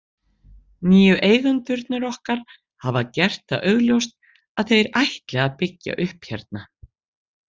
Nýju eigendurnir okkar hafa gert það augljóst að þeir ætli að byggja upp hérna.